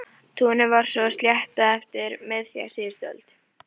Túnið var svo sléttað eftir miðja síðustu öld.